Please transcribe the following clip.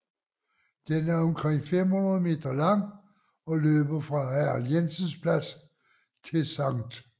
Den er omkring 500 m lang og løber fra Harald Jensens Plads til Skt